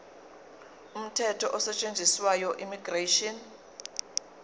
umthetho osetshenziswayo immigration